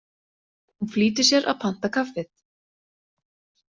Hún flýtir sér að panta kaffið.